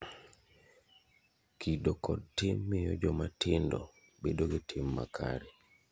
Kido kod tim miyo joma tindo bedo gi tim makare.